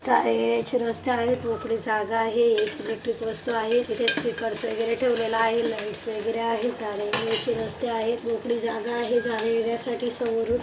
एक जाण्या येण्याचे रस्ता आहे मोकळी जागा आहे एक इलेक्ट्रिक वस्तु आहे इथे स्पीकर वगैरे ठेवलेला आहे लाइटस वगैरे आहेत एक जाण्या येण्याचे रस्ता आहे मोकळी जागा आहे जाण्या येण्या साठी समोरून--